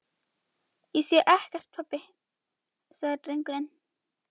Ég sé ekkert pabbi, sagði drengurinn.